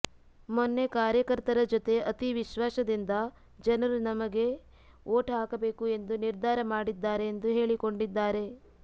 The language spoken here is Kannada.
ಮೊನ್ನೆ ಕಾರ್ಯಕರ್ತರ ಜೊತೆ ಅತೀ ವಿಶ್ವಾಸದಿಂದ ಜನರು ನಮಗೆ ವೋಟ್ ಹಾಕಬೇಕು ಎಂದು ನಿರ್ಧಾರ ಮಾಡಿದ್ದಾರೆ ಎಂದು ಹೇಳಿಕೊಂಡಿದ್ದಾರೆ